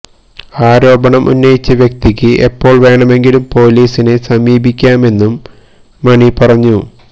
ആരോപണം ഉന്നയിച്ച വ്യക്തിക്ക് എപ്പോള് വേണമെങ്കിലും പൊലീസിനെ സമീപിക്കാമെന്നും മണി പറഞ്ഞു